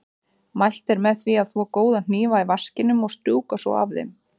Mælt er með því að þvo góða hnífa í vaskinum og strjúka svo af þeim.